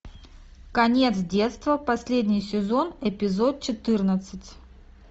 конец детства последний сезон эпизод четырнадцать